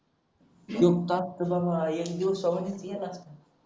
एक तास तर बाबा एक दिवसांवाणीच गेला असता